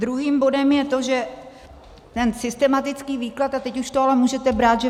Druhým bodem je to, že ten systematický výklad - a teď už to ale můžete brát, že